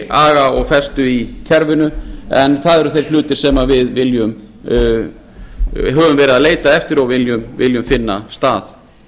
aga og festu í kerfinu en það eru þeir hlutir sem við höfum leitað eftir og viljum finna stað